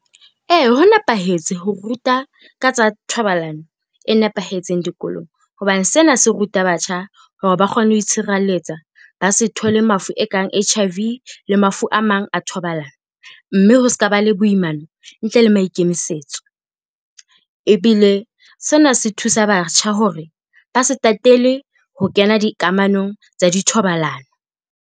Ee, ho nepahetse ho ruta ka tsa thobalano e nepahetseng dikolong, hobane sena se ruta batjha hore ba kgone ho itshireletsa, ba se thole mafu e kang H_I_V le mafu a mang a thobalano, mme ho ska ba le boimana ntle le maikemisetso. Ebile sena se thusa batjha hore ba se tatele ho kena dikamanong tsa dithobalano.